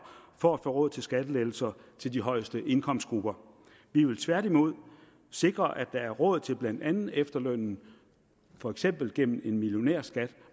for at få råd til skattelettelser til de højeste indkomstgrupper vi vil tværtimod sikre at der er råd til blandt andet efterlønnen for eksempel gennem en millionærskat